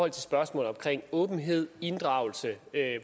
af spørgsmålet om åbenhed inddragelse